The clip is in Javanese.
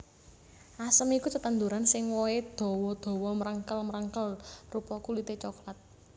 Asem iku tetanduran sing wohé dawa dawa mrengkel mrengkel rupa kulité coklat